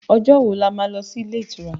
Ọjọ́ wo ni a má lọ sí ilé ìtura?